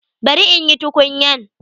Bari in yi tukunyan.